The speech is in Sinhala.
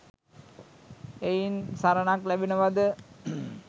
එයින් සරණක් ලැබෙනවාද?